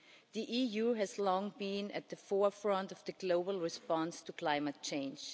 The EU has long been at the forefront of the global response to climate change.